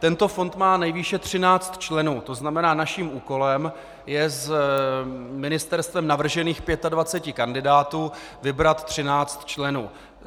Tento fond má nejvýše 13 členů, to znamená, naším úkolem je z ministerstvem navržených 25 kandidátů vybrat 13 členů.